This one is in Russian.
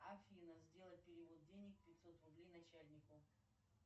афина сделать перевод денег пятьсот рублей начальнику